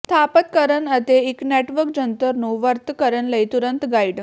ਸਥਾਪਤ ਕਰਨ ਅਤੇ ਇੱਕ ਨੈੱਟਵਰਕ ਜੰਤਰ ਨੂੰ ਵਰਤ ਕਰਨ ਲਈ ਤੁਰੰਤ ਗਾਈਡ